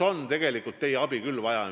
Aga tegelikult on teie abi küll vaja.